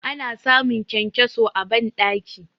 Ana samun kyankyaso a bandaki.